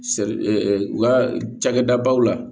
Se u ka cakɛda baw la